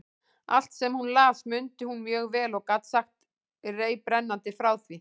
Allt, sem hún las, mundi hún mjög vel og gat sagt reiprennandi frá því.